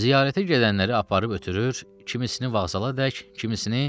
Ziyarətə gedənləri aparıb ötürür, kimisini vağzalaədək, kimisini